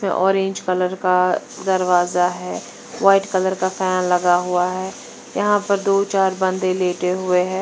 Orange colour का दरवाजा है। व्हाइट कलर का फैन लगा हुआ है। यहां पर दो चार बंदे लेटे हुए हैं।